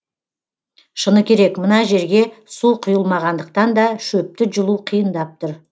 шыны керек мына жерге су құйылмағандықтан да шөпті жұлу қиындап тұр